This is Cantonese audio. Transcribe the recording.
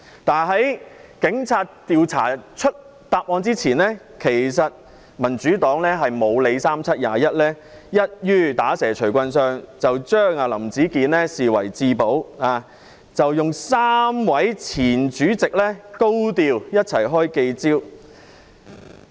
但是，在警察查出真相前，民主黨"不理三七二十一"，一於"打蛇隨棍上"，將林子健視為至寶，由3位前主席一起高調召開記者招待會。